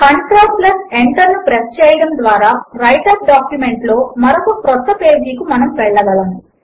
control Enter ను press చేయడము ద్వారా వ్రైటర్ డాక్యుమెంట్ లో మరొక క్రొత్త పేజీ కు మనము వెళ్ళగలము